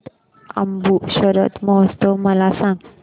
Mount Abu शरद महोत्सव मला सांग